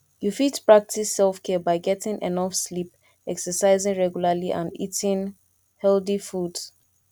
you fit practice selfcare by getting enough sleep exercising regularly and eating healthy foods